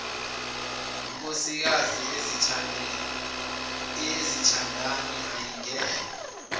nkosikazi eyezithandani ayingenwa